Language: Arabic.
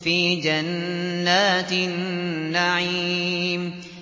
فِي جَنَّاتِ النَّعِيمِ